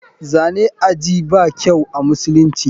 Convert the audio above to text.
Zane ajii ba kyau amusulunci.